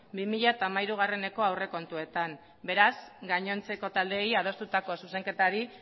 bi mila hamairueko aurrekontuetan beraz gainontzeko taldeei adostutako zuzenketari